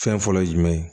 Fɛn fɔlɔ ye jumɛn ye